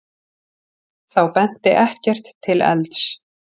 Þá benti ekkert til elds.